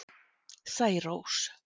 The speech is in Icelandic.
Særós